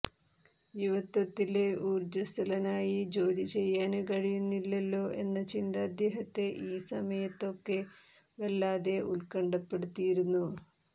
യുവത്വത്തില് ഊര്ജ്ജസ്വലനായി ജോലി ചെയ്യാന് കഴിയുന്നില്ലല്ലോ എന്ന ചിന്ത അദ്ദേഹത്തെ ഈ സമയത്തൊക്കെ വല്ലാതെ ഉല്ക്കണ്ഠപ്പെടുത്തിയിരുന്നു